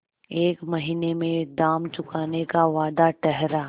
एक महीने में दाम चुकाने का वादा ठहरा